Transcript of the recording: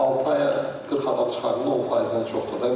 Altı aya 40 adam çıxardın, 10 faizdən çoxdur da.